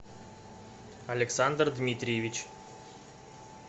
александр дмитриевич